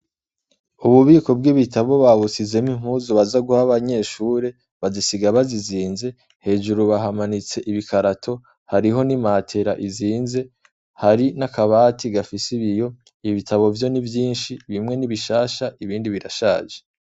Ububiko bw'ibitabo babusizemwo impuzu baza guha abanyeshure bazisiga bazizinze, hejuru bahamanitse ibikarato, hariho n'imatera izinze, hari n'akabati gafise ibiyo, ibitabo vyo ni vyinshi, bimwe ni bishasha ibindi birashaje.